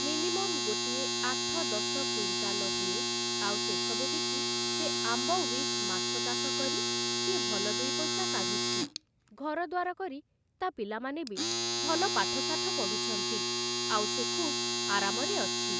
Minimum ଗୋଟିଏ ଆଠ ଦଶ କୁଇଣ୍ଟାଲ ହୁଏ, ଆଉ ସେସବୁ ବିକି ସେ ଆମ୍ବ ଉଇଥ୍ ମାଛ ଚାଷ କରି ସିଏ ଭଲ ଦୁଇ ପଇସା କାଢ଼ୁଛି ଘରଦ୍ୱାର କରି ତା' ପିଲାମାନେ ବି ଭଲ ପାଠଶାଠ ପଢ଼ୁଛନ୍ତି ଆଉ ସେ ଖୁବ୍ ଆରାମରେ ଅଛି ।